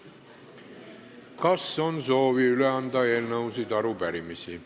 Kas on soovi üle anda eelnõusid ja arupärimisi?